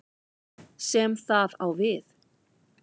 sem það á við.